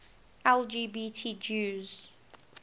lgbt jews